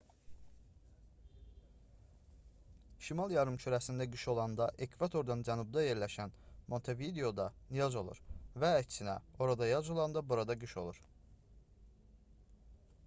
şimal yarımkürəsində qış olanda ekvatordan cənubda yerləşən montevideoda yaz olur və əksinə orada yaz olanda burada qış olur